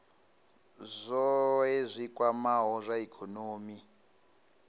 zwohe zwi kwamaho zwa ikonomi